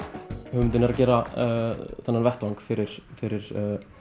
hugmyndin er að gera þennan vettvang fyrir fyrir